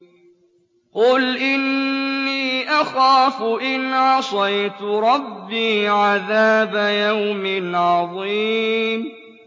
قُلْ إِنِّي أَخَافُ إِنْ عَصَيْتُ رَبِّي عَذَابَ يَوْمٍ عَظِيمٍ